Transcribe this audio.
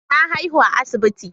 Na haihu a asibiti.